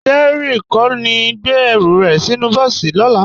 Dẹrín kò ní gbé ẹrù rẹ̀ sínú bọ́ọ̀sì lọ́la